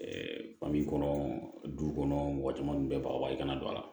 fi kɔnɔ du kɔnɔ mɔgɔ caman bɛɛ baga bali kana don a la